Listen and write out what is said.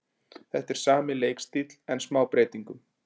Þetta er sami leikstíll en smá breytingum.